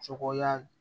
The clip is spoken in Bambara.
Cɔkoya